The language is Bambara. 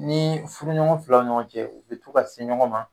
Ni furuɲɔgɔn filaw ɲɔgɔn cɛ u bɛ to ka se ɲɔgɔn ma.